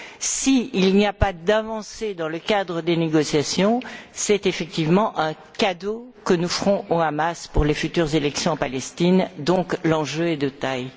S'il n'y a pas d'avancée dans le cadre des négociations, c'est effectivement un cadeau que nous ferons au Hamas pour les futures élections en Palestine. Donc, l'enjeu est de taille.